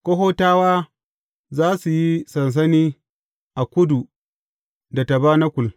Kohatawa za su yi sansani a kudu da tabanakul.